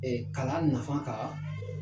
kalan nafa kan.